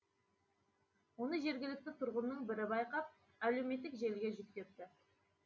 оны жергілікті тұрғынның бірі байқап әлеуметтік желіге жүктепті